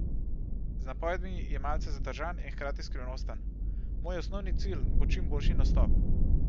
Z napovedmi je malce zadržan in hkrati skrivnosten: "Moj osnovni cilj bo čim boljši nastop.